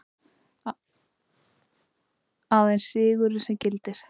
Aðeins sigurinn sem gildir.